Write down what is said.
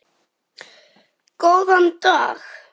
Góðan dag?